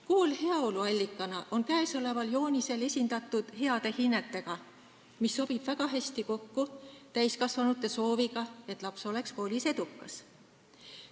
Kool heaolu allikana on käesoleval joonisel esindatud heade hinnetega, mis sobib väga hästi kokku täiskasvanute sooviga, et laps oleks koolis edukas.